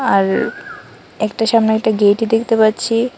আর একটা সামনে একটা গেইটই দেখতে পাচ্ছি।